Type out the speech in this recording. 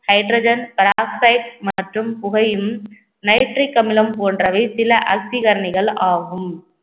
hydrogen peroxide மற்றும் புகையும் nitric அமிலம் போன்றவை சில ஆக்சிகரணிகள் ஆகும்